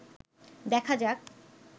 দেখা যাক